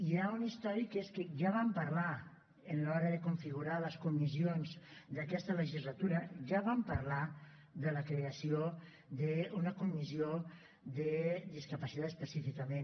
hi ha un històric i és que ja vam parlar a l’hora de configurar les comissions d’aquesta legislatura de la creació d’una comissió de discapacitat específicament